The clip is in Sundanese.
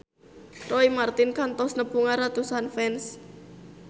Roy Marten kantos nepungan ratusan fans